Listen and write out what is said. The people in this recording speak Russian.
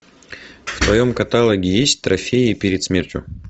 в твоем каталоге есть трофеи перед смертью